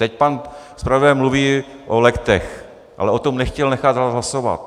Teď pan zpravodaj mluví o legtech, ale o tom nechtěl nechat hlasovat.